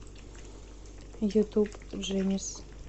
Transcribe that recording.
ютуб джэнис